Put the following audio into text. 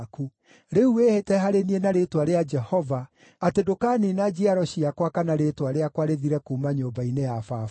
Rĩu wĩhĩte harĩ niĩ na rĩĩtwa rĩa Jehova atĩ ndũkaniina njiaro ciakwa kana rĩĩtwa rĩakwa rĩthire kuuma nyũmba-inĩ ya baba.”